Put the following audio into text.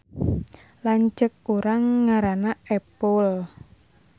Lanceuk urang ngaranna Epul